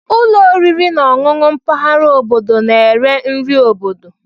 Ụlọ oriri na ọṅụṅụ mpaghara obodo na-ere nri obodo.